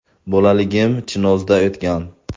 Bolaligim Chinozda o‘tgan.